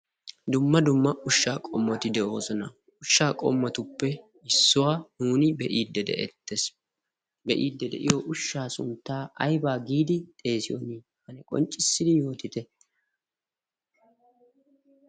Dumma dumma ushsha qommoti de'oosona, ushshaa qommotuppe issuwa nuun be'ide de"ettees. Be'ide de'iyo ushsha suntta aybba giidi xeessiyo qonccissidi yootite.